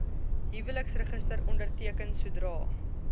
huweliksregister onderteken sodra